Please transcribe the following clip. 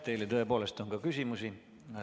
Teile tõepoolest on ka küsimusi.